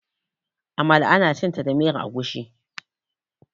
amala ana cinta da miyar agushi